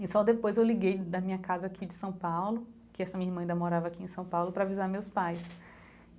E só depois eu liguei da minha casa aqui de São Paulo, que essa minha irmã ainda morava aqui em São Paulo, para avisar meus pais.